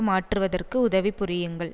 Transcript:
மாற்றுவதற்கு உதவி புரியுங்கள்